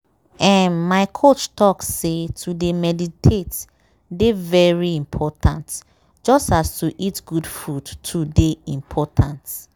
ermm my coach talk say to dey meditate dey very important just as to eat good food too dey important.